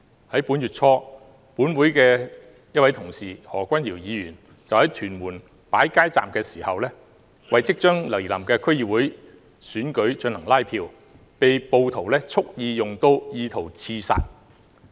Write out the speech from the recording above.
在本月初，本會一位同事何君堯議員就在屯門擺設街站，為即將來臨的區議會選舉進行拉票期間，被暴徒蓄意用刀意圖刺殺。